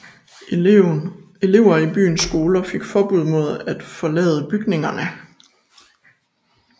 Elever i byens skoler fik forbud mod at forlade bygningerne